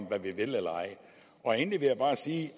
hvad vi vil eller ej endelig vil jeg bare sige